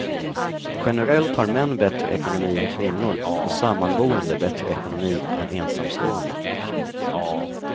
Generellt har män bättre ekonomi än kvinnor och sammanboende bättre ekonomi än ensamstående.